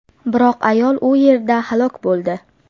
Biroq ayol u yerda halok bo‘ldi.